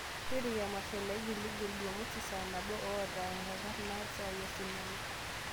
tipika emasho naigil igil jumamosi saa nabo loota enkarna esaa e sinema